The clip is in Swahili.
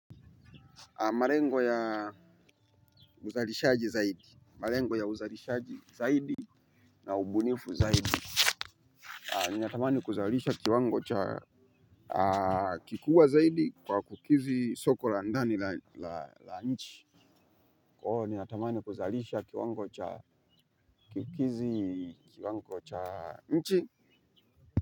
Malengo ya uzalishaji zaidi. Malengo ya uzalishaji zaidi. Na ubunifu zaidi. Ninatamani kuzalisha kiwango cha kikubwa zaidi kwa kukizi soko la ndani la nchi. Kwa hiyo ninatamani kuzalisha kiwango cha kukizi kiwango cha nchi.